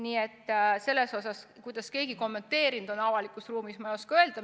Seda, mida keegi on avalikus ruumis kommenteerinud, ei oska mina kommenteerida.